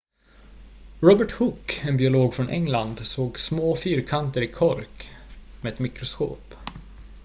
robert hooke en biolog från england såg små fyrkanter i kork med ett mikroskop